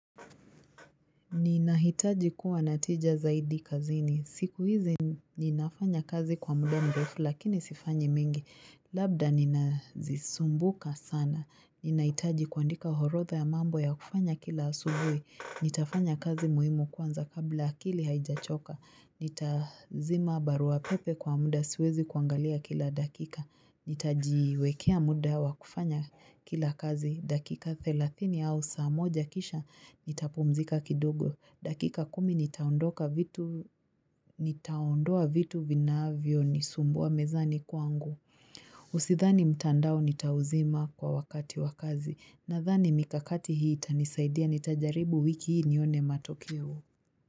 Ninahitaji kuwa natija zaidi kazini. Siku hizi ninafanya kazi kwa muda mrefu lakini sifanyi mingi. Labda ninazisumbuka sana. Ninahitaji kuandika orotha ya mambo ya kufanya kila asubuhi. Nitafanya kazi muhimu kwanza kabla akili haijachoka. Nitazima barua pepe kwa muda siwezi kuangalia kila dakika Nitajiwekea muda wa kufanya kila kazi dakika thelathin au saa moja kisha nitapumzika kidogo dakika kumi nitaondoka vitu Nitaondoa vitu vinavyo nisumbua mezani kwangu Usidhani mtandao nitauzima kwa wakati wakazi Nadhani mikakati hii itanisaidia nitajaribu wiki hii nione matokeo.